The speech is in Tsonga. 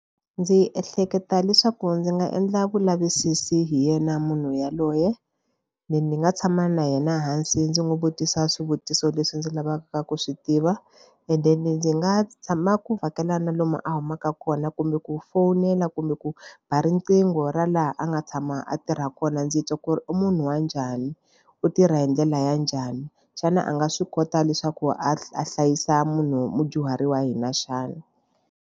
Ndzi ehleketa leswaku ndzi nga endla vulavisisi hi yena munhu yaloye ni nga tshama na yena hansi ndzi n'wi vutisa swivutiso leswi ndzi lavaka ku swi tiva and then ndzi nga tshama ku vhakela na lomu a humaka kona kumbe ku fowunela kumbe ku ba riqingho ra laha a nga tshama a tirha kona ndzi twa ku ri u munhu wa njhani u tirha hi ndlela ya njhani xana a nga swi kota leswaku a hlayisa munhu mudyuhari wa hina xana.